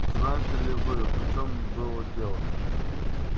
знаете ли вы в чем было дело